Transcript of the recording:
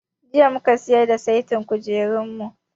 Jiya mu ka siyar da saitin kujerunmu.